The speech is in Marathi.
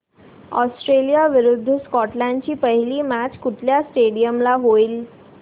ऑस्ट्रेलिया विरुद्ध स्कॉटलंड ची पहिली मॅच कुठल्या स्टेडीयम ला होईल